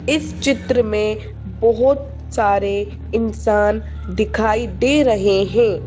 इस चित्र में बहुत सारे इंसान दिखाई दे रहे हैं।